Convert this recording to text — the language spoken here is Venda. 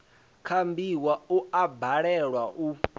kambiwa u a balelwa u